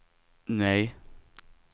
nej